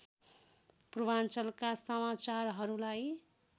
पूर्वाञ्चलका समाचारहरूलाई